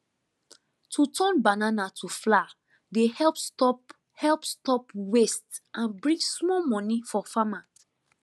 to turn banana to flour dey help stop help stop waste and bring small money for farmer